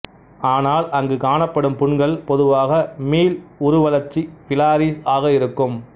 ஆனால் அங்கு காணப்படும் புண்கள் பொதுவாக மீள் உருவளர்ச்சி பிலாரிஸ் ஆக இருக்கும்